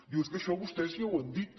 diu és que això vostès ja ho han dit